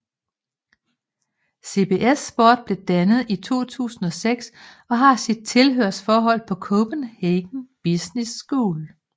CBS Sport blev dannet i 2006 og har sit tilhørsforhold på Copenhagen Business School